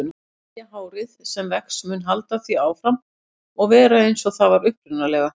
Nýja hárið sem vex mun halda áfram að vera eins og það var upprunalega.